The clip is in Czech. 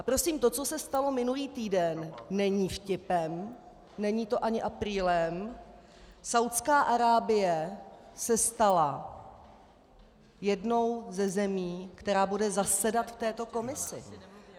A prosím to, co se stalo minulý týden, není vtipem, není to ani aprílem - Saúdská Arábie se stala jednou ze zemí, která bude zasedat v této komisi!